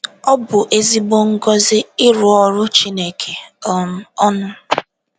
Ọ bụ ezigbo ngozi ịrụ ọrụ Chineke um ọnụ!